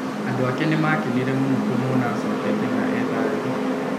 Andũ ake nĩmakenire mũno kũmwona acokete na e thayũ.